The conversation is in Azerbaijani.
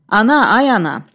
Ana, ay ana!